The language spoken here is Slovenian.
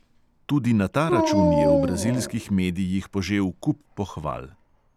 Tudi na ta račun je v brazilskih medijih požel kup pohval.